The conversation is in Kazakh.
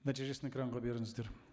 нәтижесін экранға беріңіздер